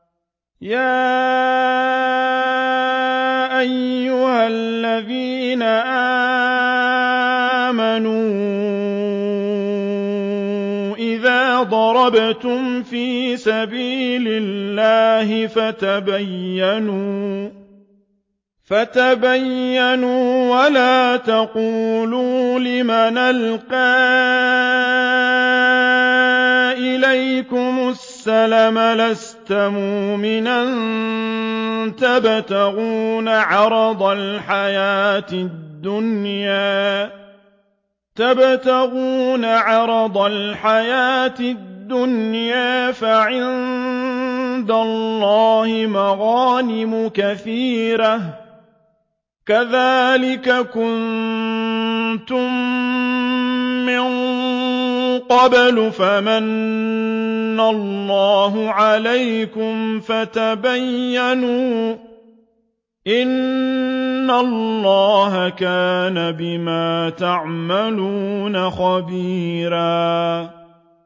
يَا أَيُّهَا الَّذِينَ آمَنُوا إِذَا ضَرَبْتُمْ فِي سَبِيلِ اللَّهِ فَتَبَيَّنُوا وَلَا تَقُولُوا لِمَنْ أَلْقَىٰ إِلَيْكُمُ السَّلَامَ لَسْتَ مُؤْمِنًا تَبْتَغُونَ عَرَضَ الْحَيَاةِ الدُّنْيَا فَعِندَ اللَّهِ مَغَانِمُ كَثِيرَةٌ ۚ كَذَٰلِكَ كُنتُم مِّن قَبْلُ فَمَنَّ اللَّهُ عَلَيْكُمْ فَتَبَيَّنُوا ۚ إِنَّ اللَّهَ كَانَ بِمَا تَعْمَلُونَ خَبِيرًا